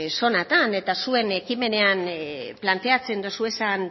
zonatan eta zuen ekimenean planteatzen dituzuen